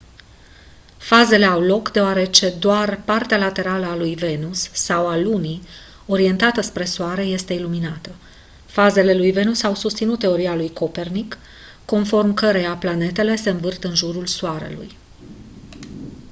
fazele au loc deoarece doar partea laterală a lui venus sau a lunii orientată spre soare este iluminată. fazele lui venus au susținut teoria lui copernic conform căreia planetele se învârt în jurul soarelui